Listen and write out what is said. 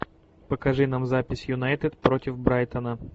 покажи нам запись юнайтед против брайтона